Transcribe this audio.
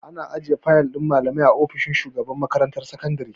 Ana ajiye fayal din malamai a ofishin shugaban makarantar sakandare.